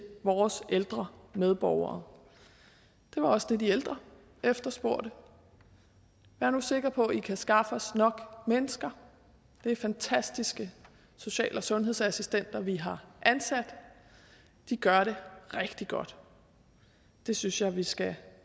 vores ældre medborgere det var også det de ældre efterspurgte vær nu sikre på at i kan skaffe os nok mennesker det er fantastiske social og sundhedsassistenter vi har ansat de gør det rigtig godt det synes jeg vi skal